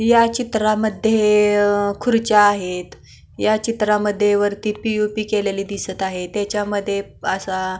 ह्या चित्रामध्ये अ खुर्च्या दिसत आहेत ह्या चित्रामध्ये वरती पी.ओ.पी केलेली दिसत आहे त्याच्यामध्ये असा --